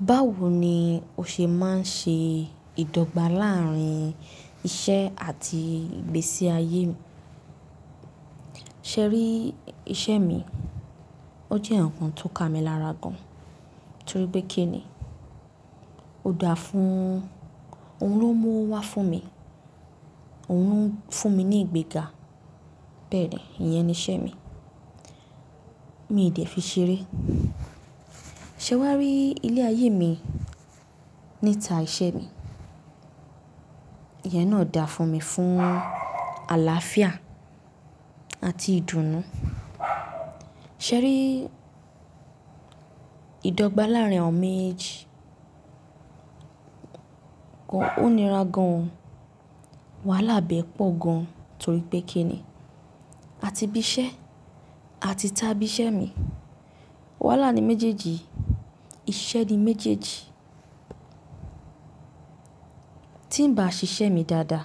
Báwo ni ó ṣe máa ń ṣe ìdọ́gba láàárín iṣẹ́ àti ìgbésí ayé? Sẹ́rí iṣẹ́ mi, ó jẹ́ ǹkan tó ka mi lára gan, torí pé kí ni? Ó da fún, òun ló mú wá fún mi, òun fún mi ní ìgbéga, bẹ́ẹ̀ ni, ìyẹn ni iṣẹ́ mi. Mi dè fi ṣeré. Sẹ́wá rí ilé ayé mi níta iṣẹ́ mi. Ìyẹn náà da fún mi fún àlàáfíà àti ìdùnnú. Sẹ́rí ìdọ́gba láàárín àwọn méjìjì kọ́, ó nira gan. Wàhálà bẹ́ẹ̀ pọ̀ gan torí pé kí ni? A ti bí iṣẹ́, a ti tá bí iṣẹ́ mi. Wàhálà ni méjèèjì, iṣẹ́ ni méjèèjì. Tí n bá ṣiṣẹ́ mi dáadáa,